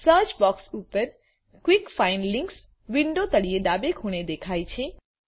search box પર quick find links વિન્ડોના તળિયે ડાબે ખૂણે દેખાય છે